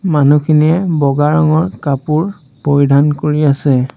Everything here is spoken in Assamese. মানুহখিনিয়ে বগা ৰঙৰ কাপোৰ পৰিধান কৰি আছে।